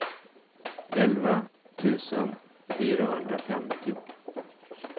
elva tusen fyrahundrafemtio